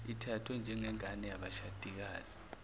ithathwe njengengane yabashadikazi